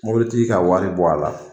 Mobilitigi ka wari bɔ a la